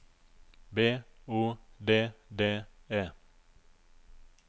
B O D D E